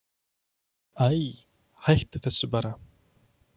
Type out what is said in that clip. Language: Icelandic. Æi, hættu þessu bara.